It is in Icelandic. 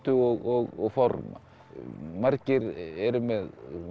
og forma margir eru með